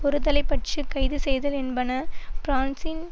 ஒருதலை பட்ச கைதுசெய்தல் என்பன பிரான்சின்